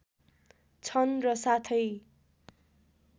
छन् र साथै